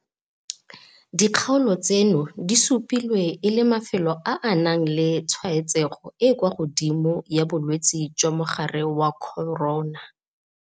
Dikgaolo tseno di supilwe e le mafelo a a nang le tshwaetsego e e kwa godimo ya bolwetse jwa mogare wa corona.